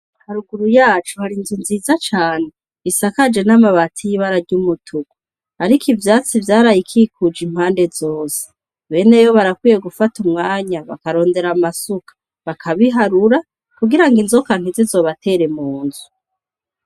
Haruguru yacu hari inzu nziza cane isakaje n'amabati y'ibara ry'umutuku, ariko ivyatsi vyarayikikuje impande zose. Bene yo barakwiye gufata umwanya bakarondera amasuka bakabiharura, kugira ngo inzoka ntizizobatere mu nzu.